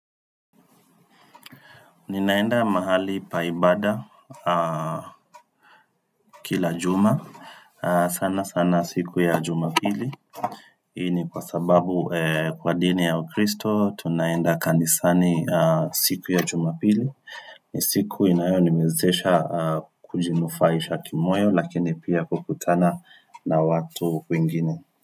Ninaenda mahali pa ibada kila juma sana sana siku ya jumapili Hii ni kwa sababu kwa dini ya ukristo tunaenda kanisani siku ya jumapili ni siku inayo niwezesha kujinufaisha kimoyo lakini pia kukutana na watu wengine.